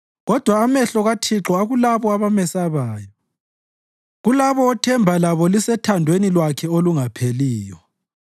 Kodwa amehlo kaThixo akulabo abamesabayo, kulabo othemba labo lisethandweni lwakhe olungapheliyo,